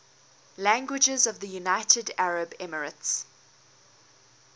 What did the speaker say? languages of the united arab emirates